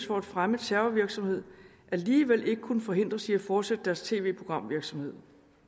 for at fremme terrorvirksomhed alligevel ikke kunne forhindres i at fortsætte deres tv programvirksomhed